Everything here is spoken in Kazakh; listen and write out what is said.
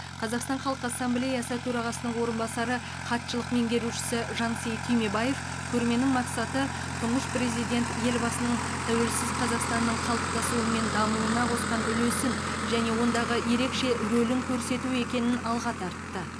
қазақстан халық ассамблеясы төрағасының орынбасары хатшылық меңгерушісі жансейіт түймебаев көрменің мақсаты тұңғыш президент елбасының тәуелсіз қазақстанның қалыптасуы мен дамуына қосқан үлесін және ондағы ерекше рөлін көрсету екенін алға тартты